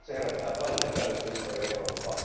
Se herättää paljon epäilyksiä ympäri Eurooppaa.